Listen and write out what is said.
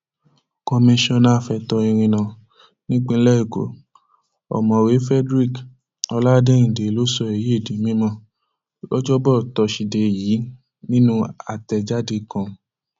komisanna fẹtọ ìrìnnà nípìnlẹ ẹkọ ọmọwéé frederick ọládéìndé ló sọ èyí di mímọ lọjọbọ tosidee yìí nínú àtẹjáde kan